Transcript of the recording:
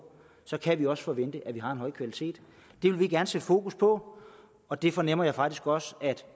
kan vi også forvente at det har en høj kvalitet det vil vi gerne sætte fokus på og det fornemmer jeg faktisk også at